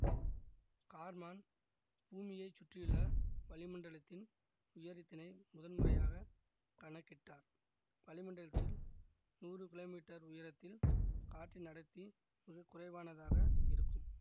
Karman பூமியை சுற்றியுள்ள வளிமண்டலத்தின் உயரத்தினை முதன்முறையாகக் கணக்கிட்டார் வளிமண்டலத்தில் நூறு கிலோமீட்டர் உயரத்தில் காற்றின் அடர்த்தி மிக குறைவானதாக இருக்கும்